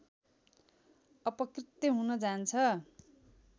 अपकृत्य हुन जान्छ